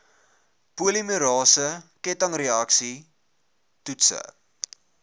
polimerase kettingreaksie toetse